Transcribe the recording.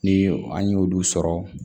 Ni an y'olu sɔrɔ